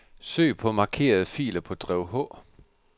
Søg på markerede filer på drev H.